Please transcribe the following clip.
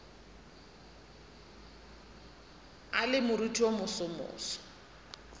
a le moriting wo mosomoso